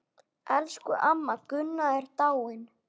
Elsku amma Gunna er dáin.